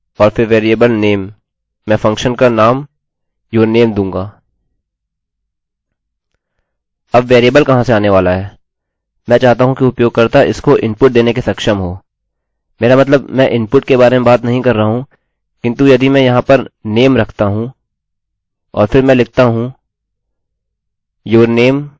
अब वेरिएबल कहाँ से आने वाला है मैं चाहता हूँ कि उपयोगकर्ता इसको इनपुटinput देने के सक्षम हो मेरा मतलब मैं इनपुटinput के बारे में बात नहीं कर रहा हूँ किन्तु यदि मैं यहाँ पर name रखता हूँ और फिर मैं लिखता हूँ your name alex